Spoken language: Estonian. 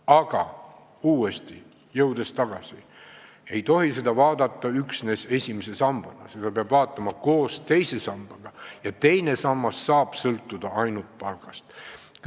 Aga veel kord: ei tohi olukorda vaadata üksnes esimese samba seisukohast, peab vaatama ka koosmõjus teise sambaga, mis saab sõltuda ainult palgast.